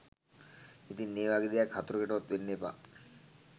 ඉතින් ඒ වගේ දෙයක් හතුරෙකුටවත් වෙන්න එපා